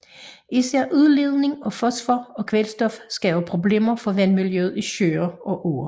Især udledning af fosfor og kvælstof skaber problemer for vandmiljøet i søer og åer